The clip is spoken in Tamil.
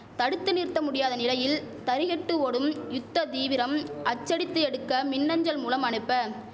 தடுத்து நிறுத்த முடியாத நிலையில் தறிகெட்டு ஓடும் யுத்த தீவிரம் அச்சடித்து எடுக்க மின்அஞ்சல் மூலம் அனுப்ப